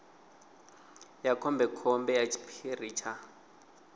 ya khombekhombe ya tshiphiri tsha